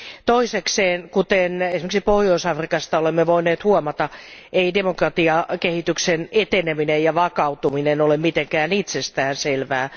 Toisekseen, kuten esimerkiksi Pohjois Afrikasta olemme voineet huomata, ei demokratiakehityksen eteneminen ja vakautuminen ole mitenkään itsestään selvää.